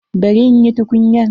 Bari in yi tukunyan.